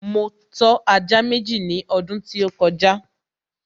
Mo tọ́ ajá Méjì ní ọdún tí ó kọjá